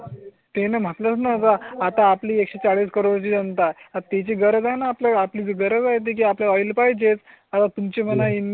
ते ना म्हणून आता आपली एकशे चाळीस करोड ची जनता आहे ना आपल्या ला आपली गरज आहे ती आपण ऑइल पाहिजे. तुमची मला ई मेल